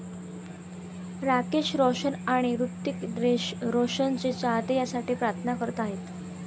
राकेश रोशन आणि हृतिक रोशनचे चाहते यासाठी प्रार्थना करत आहेत.